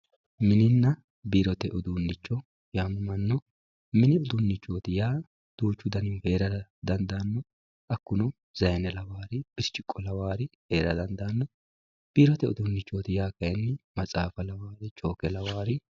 Mini uduunicho yamamano mini udunichoyaa yaa duuchu danihu heerara dandano hakuno sayine lawawori biriciko lawawori heera dandano biirote udunichoti yinaniri kayini maxaafa lawawori chooke lawawori.